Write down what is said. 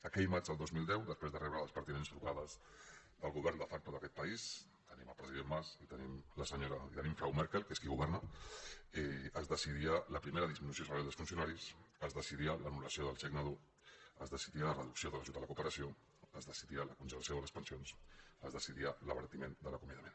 aquell maig del dos mil deu després de rebre les pertinents trucades del govern de facto d’aquest país tenim el president mas i tenim la senyora frau merkel que és qui governa es decidia la primera disminució salarial dels funcionaris es decidia l’anul·l’ajut a la cooperació es decidia la congelació de les pensions es decidia l’abaratiment de l’acomiadament